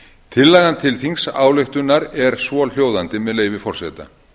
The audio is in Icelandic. tillagan til þingsályktunar er svohljóðandi með leyfi forseta